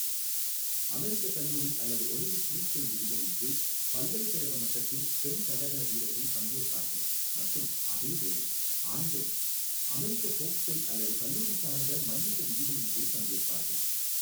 அமெரிக்க கல்லூரி அல்லது Olympic freestyle விதிகளின் கீழ் பல்கலைக்கழக மட்டத்தில் பெண் தடகள வீரர்கள் பங்கேற்பார்கள் மற்றும் அதேவேளை ஆண்கள், அமெரிக்க ஃபோக்ஸ்டைல் அல்லது கல்லூரி சார்ந்த மல்யுத்த விதிகளின் கீழ் பங்கேற்பார்கள்.